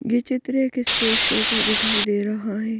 ये चित्र एक स्टेज शो का दिखाई दे रहा है.